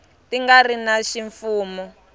ti nga ri ta ximfumo